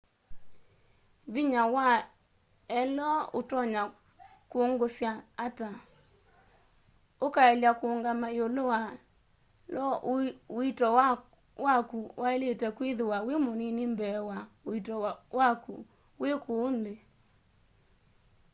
vinya wa io utonya kungusya ata ukaelya kuungama iulu wa io uito waku wailite kwithiwa wi munini mbee wa uito waku wi kuu nthi